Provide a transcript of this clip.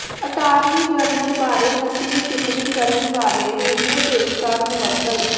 attorney general ਬਾਰੇ ਨਸਲੀ ਟਿੱਪਣੀ ਕਰਨ ਵਾਲੇ ਰੇਡੀਓ ਪੇਸ਼ਕਾਰ ਮੁਅੱਤਲ